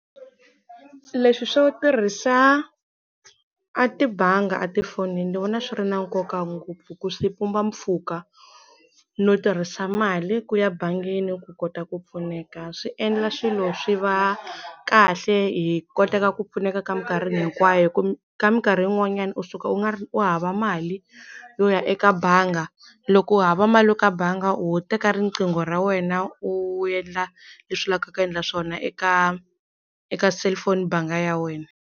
Leswi swo tirhisa a tibanga a tifonini ndzi vona swi ri na nkoka ngopfu hi ku swi pumba mpfhuka no tirhisa mali ku ya bangini ku kota ku pfuneka swi endla swilo swi va kahle hi koteka ku pfuneka ka minkarhi hinkwayo hi ku ka minkarhi yin'wanyana u suka u nga ri u hava mali yo ya eka banga loko u hava mali ya ka banga ho teka riqingho ra wena u endla leswi u laveka ku endla swona eka eka cellphone banga ya wena.